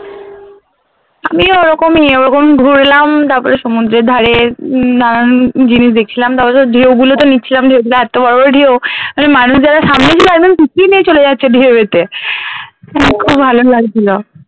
আমি ওরকমই, ওরকমই ঘুরলাম তারপরে সমুদ্রের ধারে নানান জিনিস দেখছিলাম তারপরে তো ঢেউ নিচ্ছিলাম যে ওগুলো তো এত্ত বড় বড় ঢেউ মানে মানুষ যারা সামনে ছিল একদম পিছিয়ে নিয়ে চলে যাচ্ছিলো ঢেউতে , খুব ভালো লাগছিল।